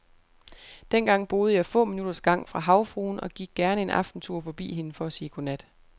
Dengang boede jeg få minutters gang fra havfruen og gik gerne en aftentur forbi hende for at sige godnat.